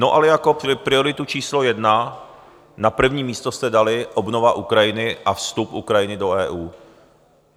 No ale jako prioritu číslo jedna na první místo jste dali obnovu Ukrajiny a vstup Ukrajiny do EU.